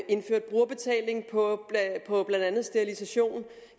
indført brugerbetaling på blandt andet sterilisation